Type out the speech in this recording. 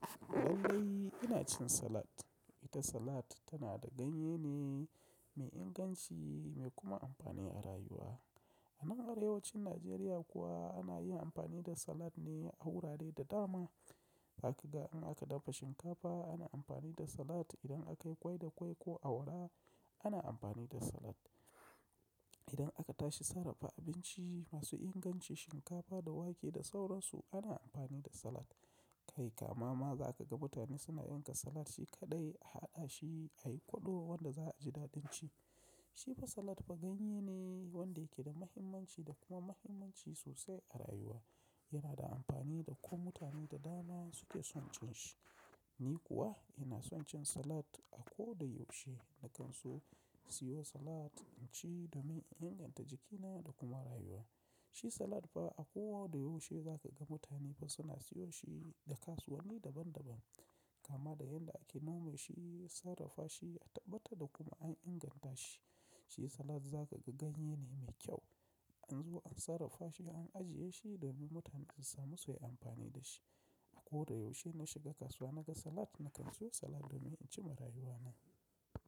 Wallahi ina cin salat. Ita salat tana da ganye ne mai inganci, mai kuma amfani a rayuwa. A nan arewacin Najeriya kuwa ana yin amfani da salat ne a wurare da dama. Za ka ga in aka dafa shinkafa ana amfani da salat, idan akayi ƙwai da ƙwai ko awara ana amfani da salat. Idan aka tashi sarrafa abinci masu inganci, shinkafa da wake da sauransu ana amfani da salat. Kai kama ma za ka ga mutane suna yanka salat shi kaɗai, a haɗa shi, a yi kwaɗo wanda za a ji daɗanci. Shi ba salat ba ganye ne wanda yake da muhimmanci da kuma muhimmanci sosai a rayuwa. Yana da amfani da kuma mutane da dama suke son cin shi. Ni kuwa ina son cin salat. A ko da yaushe na kan so siyo salat in ci domin in inganta jikina da kuma rayuwa. Shi salat fa a ko da yaushe za ka ga mutane fa su na siyo shi da kasuwanni daban daban. Kama da yadda ake nome shi, sarrafa shi, a tabbata da kuma an inganta shi. Shi salat za ka ga ganye ne mai kyau. An zo an sarrafa shi, an ajiye shi domin mutane su samu su yi amfani da shi. A ko da yaushe na shiga kasuwa naga salat, na kan siyo salat domin in ci marayuwa na.